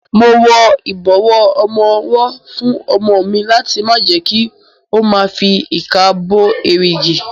Mo wọ ìbọ̀wọ́ ọmọwọ́ fún ọmọ mi láti má jẹ kí ó ma fi ìka gbo èrìgì.